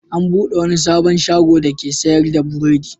An buɗe wani sabon shago dake sayar da burodi.